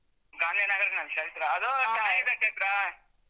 ಗಾಂಧಿನಗರ್ನಲ್ಲಿ ಚೈತ್ರ ಅದು ಚೆನ್ನಾಗಿದೆ ಚೈತ್ರ.